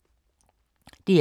DR K